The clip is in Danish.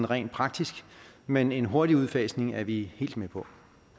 rent praktisk men en hurtig udfasning er vi helt med på